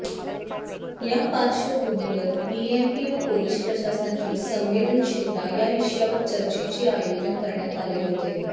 या पार्श्वभूमीवर पीएमपी व पोलीस प्रशासनाची संवेदनशीलता या विषयावर चर्चेचे आयोजन करण्यात आले होते